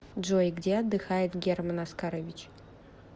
джой где отдыхает герман оскарович